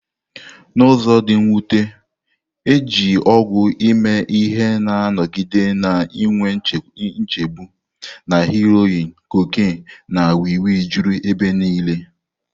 N'ụzọ dị mwute, iji ọgwụ eme ihe na-anọgide na-enwe nchegbu, na heroin, cocaine, na wii wii juru ebe niile.